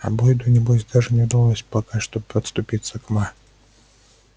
а бойду небось даже не удалось пока что и подступиться к ма